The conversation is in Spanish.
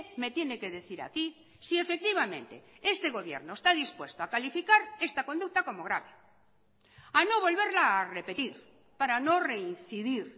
me tiene que decir aquí si efectivamente este gobierno esta dispuesto a calificar esta conducta como grave a no volverla a repetir para no reincidir